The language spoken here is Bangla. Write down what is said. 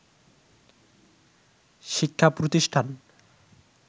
শিক্ষা প্রতিষ্ঠান